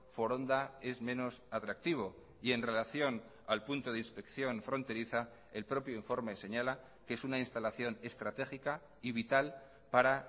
foronda es menos atractivo y en relación al punto de inspección fronteriza el propio informe señala que es una instalación estratégica y vital para